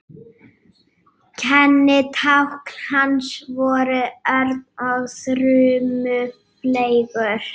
Kennitákn hans voru örn og þrumufleygur.